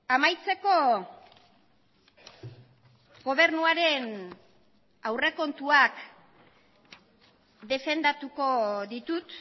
amaitzeko gobernuaren aurrekontuak defendatuko ditut